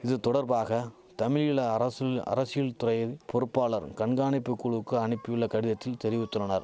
இது தொடர்பாக தமிழீழ அரசுல் அரசில்துறையில் பொறுப்பாளர் கண்காணிப்பு குழுவுக்கு அனிப்பியுள்ள கடிதத்தில் தெரிவித்துள்ளனர்